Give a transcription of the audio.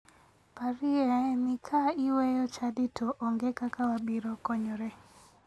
Parie ni ka iweyo chadi to onge kaka wabiro konyore.